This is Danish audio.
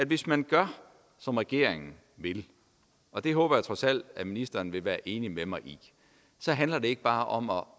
hvis man gør som regeringen vil og det håber jeg trods alt at ministeren vil være enig med mig i så handler det ikke bare om at